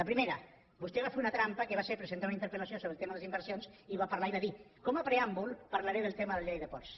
la primera vostè va ver una trampa que va ser presentar una interpel·lació sobre el tema de les inversions i va parlar i va dir com a preàmbul parlaré del tema de la llei de ports